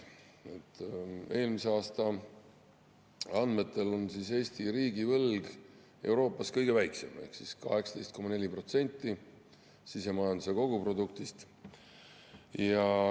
Eelmise aasta andmetel on Eesti riigivõlg Euroopas kõige väiksem ehk 18,4% sisemajanduse koguproduktist.